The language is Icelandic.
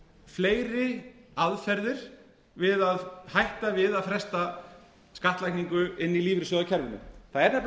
fleiri aðferðir við að hætta við að fresta skattlagningu inn í lífeyrissjóðakerfinu það er nefnilega